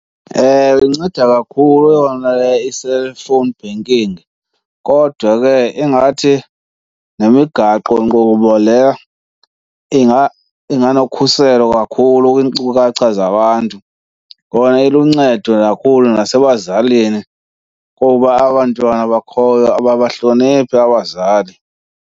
Ewe, inceda kakhulu yona i-cellphone banking kodwa ke ingathi nemigaqonkqubo leya into inganokhuselo kakhulu kwiinkcukacha zabantu. Kona iluncedo kakhulu nasebazalini kuba abantwana bakhoyo ababahloniphi abazali.